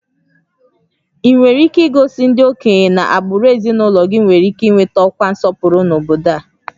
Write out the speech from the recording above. Ị nwere ike igosi ndị okenye na agbụrụ ezinụlọ gị nwere ike ị nweta ọkwa nsọpụrụ n'obodo a?